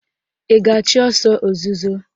Ị ga-achụ ọsọ ozuzo?